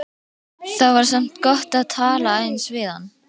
Það var samt gott að tala aðeins við hann.